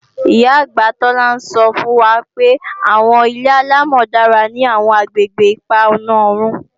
Ìyá-àgbà Tola ń sọ́ fún wa pé àwọn ilé-àlámọ̀ dára ní àwọn àgbègbè ipa ọ̀na oòrùn